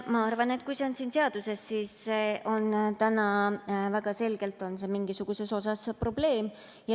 Ma arvan, et kui see on siin seaduses, siis see on väga selgelt mingisuguses osas probleem.